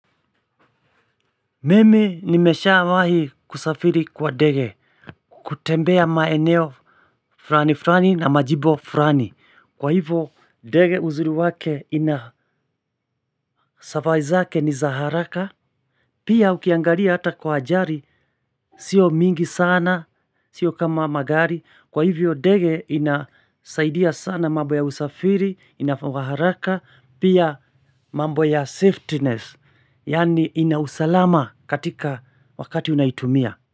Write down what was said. Mimi nimeshawahi kusafiri kwa dege, kutembea maeneo furani furani na majibo furani, kwa hivyo dege uzuri wake ina safari zake ni za haraka, pia ukiangalia hata kwa ajari, sio mingi sana, sio kama magari, kwa hivyo dege inasaidia sana mambo ya usafiri, inafaa haraka, pia mambo ya safetiness, yaani ina usalama katika wakati unaitumia.